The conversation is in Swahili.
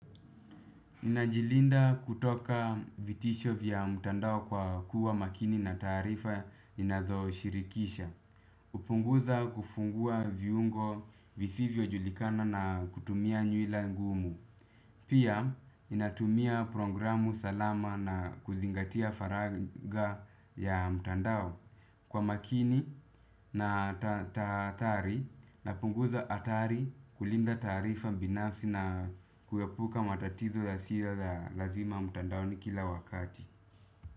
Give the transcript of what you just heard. Ninajilinda kutoka vitisho vya mtandao kwa kuwa makini na taarifa ninazo shirikisha. Upunguza kufungua viungo visivyo julikana na kutumia nyuila ngumu. Pia ninatumia programu salama na kuzingatia faraga ya mtandao. Kwa makini na taathari napunguza hatari kulinda taarifa binafsi na kuepuka matatizo yasio ya lazima mtandaoni kila wakati.